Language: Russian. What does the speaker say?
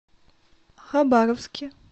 хабаровске